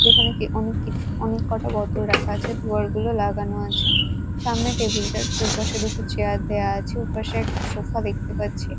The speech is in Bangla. যেখানে কে অনেক কিছু অনেককটা বোতল রাখা আছে দুয়ারগুলো লাগানো আছে সামনে টেবিল -টার দুপাশে দুটো চেয়ার দেয়া আছে ওপাশে একটা সোফা দেখতে পাচ্ছি।